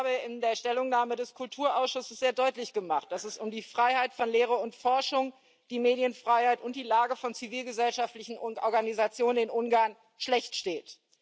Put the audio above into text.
Ich habe in der Stellungnahme des Kulturausschusses sehr deutlich gemacht, dass es um die Freiheit von Lehre und Forschung, die Medienfreiheit und die Lage von zivilgesellschaftlichen Organisationen in Ungarn schlecht steht.